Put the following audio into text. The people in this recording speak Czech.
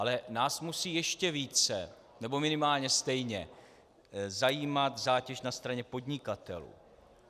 Ale nás musí ještě více nebo minimálně stejně zajímat zátěž na straně podnikatelů.